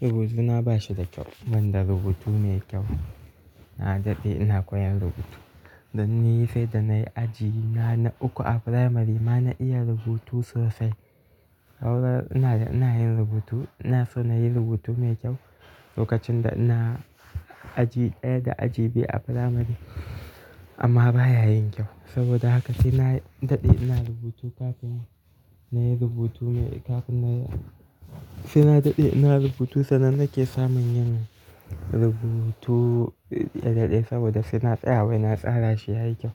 Rubutuna ba shi da kyau, ban da rubutu mai kyau. Na daɗe ina koyan rubutu. Dan ni sai da nayi aji na uku a firamari ma na iya rubutu sosai. Aurar ina ina yin rubutu, ina so nayi rubutu mai kyau lokacin da ina aji ɗaya da aji biyu a firamari. Amma baya yin kyau. Saboda haka sai na daɗe ina rubutu kafin nayi rubutu ne kafin nayi-- sai na daɗe ina rubutu sannan nake samun yin rubutu ya daɗe saboda sai na tsaya wai na tsara shi yayi kyau.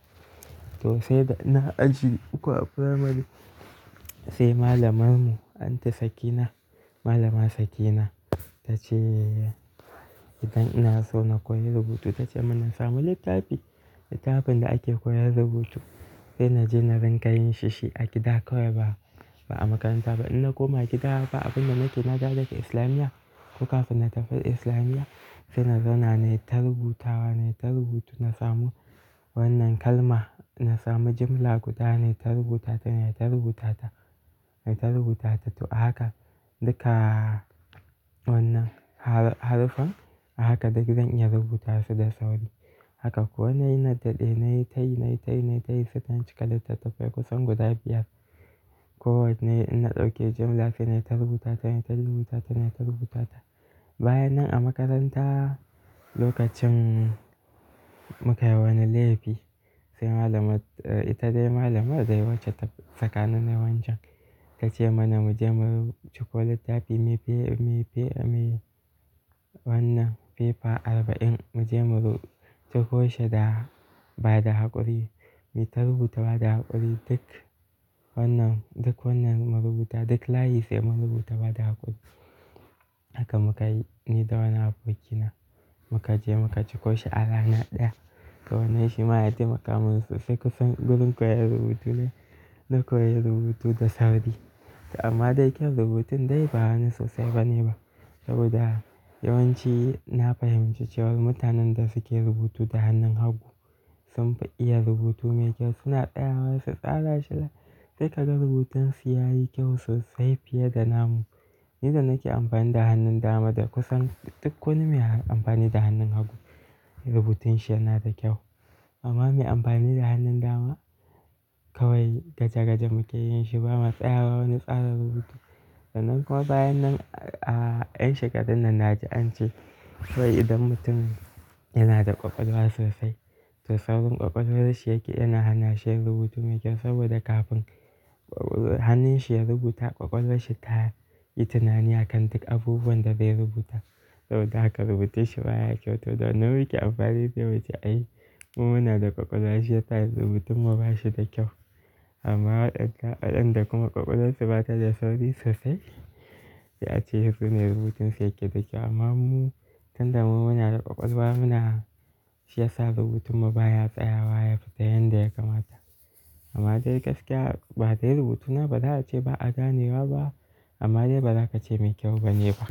To sai da ina aji uku a firamari sai malamar mu, Anta Sakina, Malama Sakina ta ce idan ina so na koyi rubutu ta ce mu na samu littafi, littafin da ake koyar rubutu. Sai na je na ringa yin shi shi a gida kawai ba, ba a makaranta ba. In na koma gida ba abin da nake na dawo daga Islamiyya. Ko kafin na tafi Islamiyya sai na zauna nayi ta rubutawa, nayi ta rubutu na samu wannan kalma, na samu jimla guda nayi ta rubutata, nayi ta rubutata, nayi ta rubutata. To a haka duka wannan har-haruffan a haka duk zan iya rubuta su da sauri. Haka kuwa nayi na daɗe nayi tayi, nayi tayi, nayi tayi sai sun cika litattafai kusan guda biyar. Ko wanne in na ɗauke jimla sai nayi ta rubutata, nayi ta rubutata, nayi ta rubutata. Bayan nan a makaranta lokacin muka yi wani laifi sai malamar, ita dai malamar dai wace ta sakani nayi wancan ta ce mana mu je mu ciko littafi mai fe-mai fe-mai wannan fefa arba'in mu je mu ru-- ciko shi da ba da haƙuri, muyi ta rubuta bada haƙuri duk wannan, duk wannan mu rubuta duk layi sai mun rubuta ba da haƙuri. Haka muka yi ni da wani abokina. Mu ka je muka ciko shi a rana ɗaya. Wannan shi ma yana taimaka mana sosai kusan gurin koyar rubutu ne, na koyar rubutu da sauri. To amma dai kyaun rubutun dai ba wani sosai bane ba. Saboda yawanci na fahimci cewa mutanen da suke rubutu da hannun hagu sun fi iya rubutu me kyau suna tsayawa su tsara shi da sai ka ga rubutansu yayi kyau sosai fiye da namu. Ni da nake amfani da hannun dama da kusan duk wani mai amfani da hannun hagu rubutun shi yana da kyau. Amma mai amfani da hannun dama kawai gaja-gaja muke yin shi ba ma tsayawa wani tsara rubutu. Sannan kuma bayan nan a yan shekarun nan na ji an ce kawai idan mutum yana da ƙwaƙwalwa sosai, to saurin ƙwaƙwalwar shi yake yana hana shi yin rubutu me kyau saboda kafin hannun shi ya rubuta ƙwaƙwalarsa ta yi tunani akan duk abubuwan da zai rubuta. Saboda haka rubutun shi baya kyau. To da wannan muke amfani se muce ai mu muna da ƙwaƙwalwa shi yasa rubutun mu ba shi da kyau. Amma waɗanda kuma ƙwaƙwalwarsu ba ta da sauri sosai se a ce su ne rubutun su yake da kyau. Amma mu tun da mu muna da ƙwaƙwalwa muna shi yasa rubutun mu baya tsayawa yafita yanda ya kamata. Amma dai gaskiya ba dai rubutuna ba za a ce ba a ganewa ba amma dai ba za ka ce mai kyau bane ba.